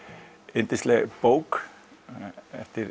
yndisleg bók eftir